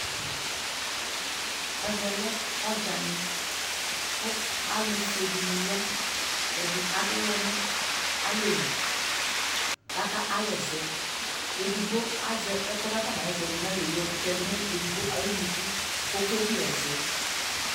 Ɛvɛ lɛ ɔɖʒani ku alu fuedini ya Ɛdi adu uwɔ nalɛli kaka awɛsɛ edigbo aʒɛ ɛku kakɔnaɣɛsɛ du nayelie kayɔtɛdu nayunuku koke bie ɛsɛ